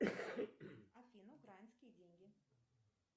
афина украинские деньги